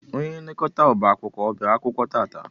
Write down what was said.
Ónyé nlekọta ọbá akwụkwọ ọ bịara akwụkwọ tata?